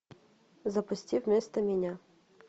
запусти вместо меня